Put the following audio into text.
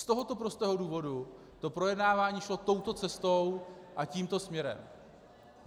Z tohoto prostého důvodu to projednávání šlo touto cestou a tímto směrem.